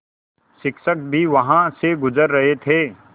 शिक्षक भी वहाँ से गुज़र रहे थे